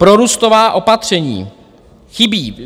Prorůstová opatření chybí.